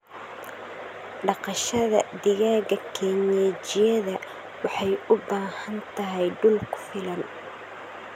Dhaqashada digaaga kienyejida waxay u baahan tahay dhul ku filan.